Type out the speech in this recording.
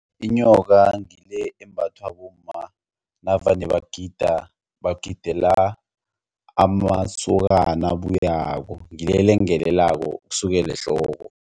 Inyoka ngile embathwa bomma navane bagida bagidigela amasokana abuyako ngile elengelelako ukusukela ehloko.